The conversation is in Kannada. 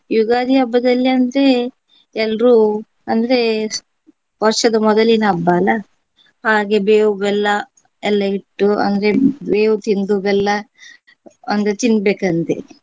ಯುಗಾದಿ ಹಬ್ಬದಲ್ಲಿ ಅಂದ್ರೆ ಎಲ್ರೂ ಅಂದ್ರೆ ವರ್ಷದ ಮೊದಲಿನ ಹಬ್ಬ ಅಲಾ. ಹಾಗೆ ಬೇವು ಬೆಲ್ಲ ಎಲ್ಲ ಇಟ್ಟು ಅಂದ್ರೆ ಬೇವು ತಿಂದು ಬೆಲ್ಲ ಅಂದ್ರೆ ತಿನ್ಬೇಕಂತೆ.